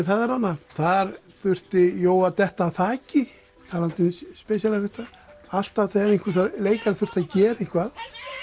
feðranna þar þurfti Jói að detta af þaki talandi um special effect a alltaf þegar einhver leikari þurfti að gera eitthvað